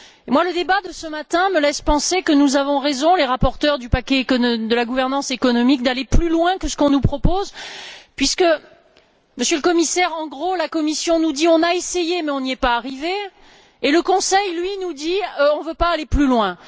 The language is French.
Et le débat de ce matin me laisse penser que nous avons raison les rapporteurs du paquet de la gouvernance économique d'aller plus loin que ce qu'on nous propose, puisque, Monsieur le Commissaire, en substance, la Commission nous dit On a essayé mais on n'y est pas arrivé et le Conseil, lui, nous dit On ne veut pas aller plus loin.